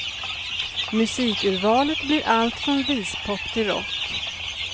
Musikurvalet blir allt från vispop till rock.